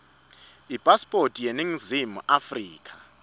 ipasipoti yaseningizimu afrika